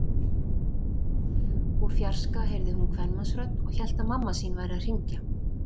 Úr fjarska heyrði hún kvenmannsrödd og hélt að mamma sín væri að hringja.